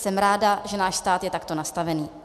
Jsem ráda, že náš stát je takto nastavený.